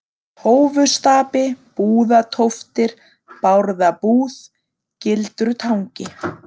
Tófustapi, Búðatóftir, Bárðabúð, Gildrutangi